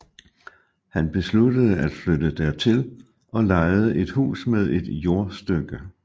Han besluttede at flytte dertil og lejede et hus med et jordstykke